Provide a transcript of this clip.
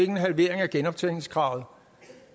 en halvering af genoptjeningskravet